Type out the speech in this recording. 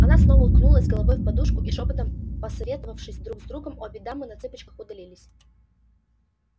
она снова уткнулась головой в подушку и шёпотом посовещавшись друг с другом обе дамы на цыпочках удалились